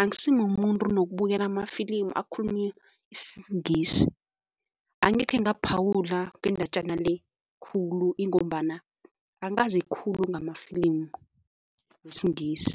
Angisimumuntu nokubukela amafilimu akhulunywa isiNgisi angekhe ngaphawula ngendatjana le khulu ingombana angazi khulu ngamafilimu wesiNgisi.